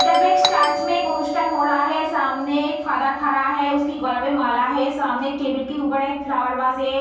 इधर पे एक चारच में एक अनुष्ठान हो रहा है। सामने एक फादर खड़ा हैं। उसके गला पे माला है। सामने एक टेबल के उपर एक फ्लावर बास हैं।